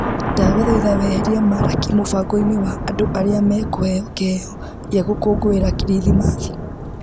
Ndagũthaitha weherie Maraki mũbango-inĩ wakwa wa arĩa me kũheo kĩheyo kĩa gũkũngũĩra krithimathi